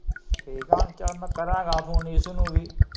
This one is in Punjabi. ਠੀਕ ਏ ਹੁਣ, ਚੱਲ ਮੈ ਕਰਾਂਗਾ ਫੋਨ ਨਿਸ਼ੂ ਨੂੰ ਵੀ।